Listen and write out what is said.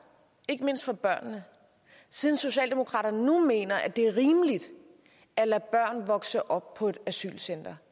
ikke mindst for børnene siden socialdemokraterne nu mener det er rimeligt at lade børn vokse op på et asylcenter